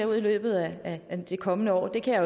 ud i løbet af det kommende år kan jeg